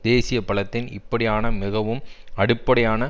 தேசிய பலத்தின் இப்படியான மிகவும் அடிப்படையான